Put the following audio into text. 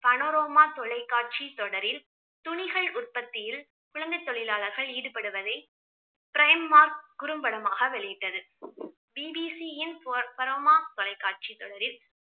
Panorama தொலைக்காட்சி தொடரில் துணிகள் உற்பத்தியில் குழந்தை தொழிலாளர்கள் ஈடுபடுவதை க்ரைம் மார்க் குறும்படமாக வெளியிட்டது. பிபிசியின் ப~ பனோரோமா தொலைக்காட்சி தொடரில்